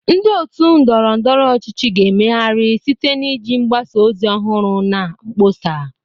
Ndị otu ndọrọ ndọrọ ọchịchị ga-emegharị site na iji mgbasa ozi ọhụrụ na mkpọsa.